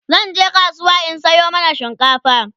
zanje kasuwa in Sayo mana shinkafa